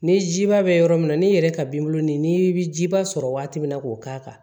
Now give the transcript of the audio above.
Ni jiba bɛ yɔrɔ min na n'i yɛrɛ ka binbɔn nin bɛ ji ba sɔrɔ waati min na k'o k'a kan